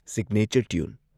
signature tune